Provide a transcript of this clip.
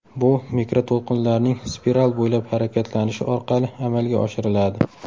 Bu mikroto‘lqinlarning spiral bo‘ylab harakatlanishi orqali amalga oshiriladi.